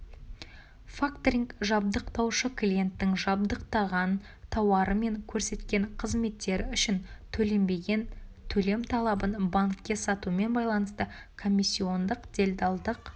факторинг жабдықтаушы-клиенттің жабдықтаған тауары мен көрсеткен қызметтері үшін төленбеген төлем талабын банкке сатумен байланысты комиссиондық-делдалдық